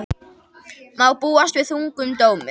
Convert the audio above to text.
Má búast við þungum dómi